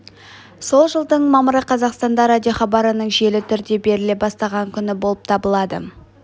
сол жылдың мамыры қазақстанда радиохабарының жүйелі түрде беріле бастаған күні болып табылады